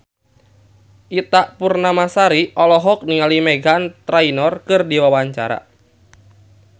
Ita Purnamasari olohok ningali Meghan Trainor keur diwawancara